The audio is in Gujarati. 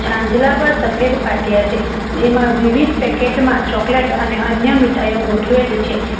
છાંજલા પર સફેદ પાટીયા છે જેમાં વિવિધ પેકેટ માં ચોકલેટ અને અન્ય મીઠાઈઓ ગોઠવેલી છે.